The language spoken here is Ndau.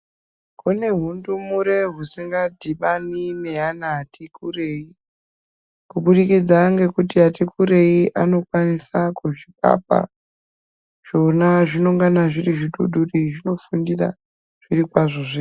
Kune zvindumure zvisingadhibani nevana vatikurei nekuti vatikurei zvisina zvinenge zviri zvidudure zvinofundira zviro kwazvo.